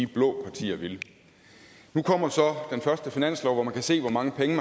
blå partier ville nu kommer så den første finanslov hvor man kan se hvor mange penge